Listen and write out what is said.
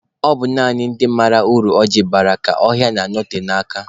Ọ bụ naanị ndị mara uru ọ ji bara ka ọhịa na-anote n'aka